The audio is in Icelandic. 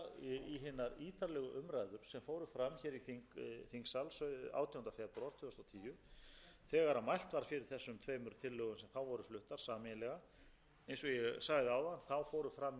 í þingsal átjánda febrúar tvö þúsund og tíu þegar mælt var yfir þessum tveimur tillögum sem þá voru fluttar sameiginlega eins og ég sagði áðan fóru fram